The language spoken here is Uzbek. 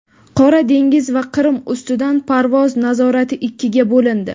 Qora dengiz va Qrim ustidan parvoz nazorati ikkiga bo‘lindi.